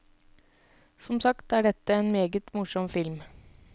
Som sagt er dette en meget morsom film.